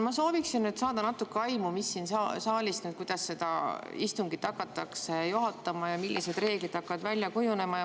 Ma sooviksin saada natuke aimu, kuidas siin saalis seda istungit hakatakse juhatama ja millised reeglid hakkavad välja kujunema.